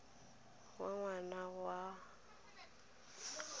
ya ngwana go ya ka